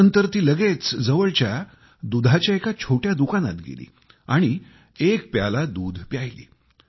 त्यानंतर ती लगेच जवळच्या दुधाच्या एका छोट्या दुकानात गेली आणि एक प्याला दुध प्यायली